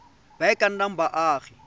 ba e ka nnang baagi